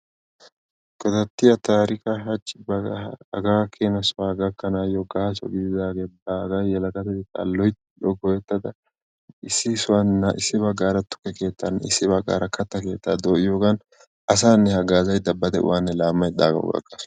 Godatiya taarika ba hagaakena sohuwaa gakkanayo gaaso gididage baaga yelagatetta loyttada go'ettada issi sohuwan tukke keettaa issi baggaara katta keettaa doyiyogan asane haggaziyogan ba de'uwaanne laamaydda hagawu gatasu.